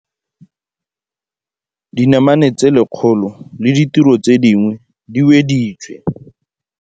Dinamane tse 100 le ditiro tse dingwe di weditswe.